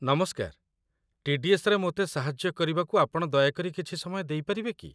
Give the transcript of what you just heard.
ନମସ୍କାର, ଟି.ଡି.ଏସ୍.ରେ ମୋତେ ସାହାଯ୍ୟ କରିବାକୁ ଆପଣ ଦୟାକରି କିଛି ସମୟ ଦେଇପାରିବେ କି?